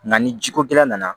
Nka ni jiko gɛlɛn nana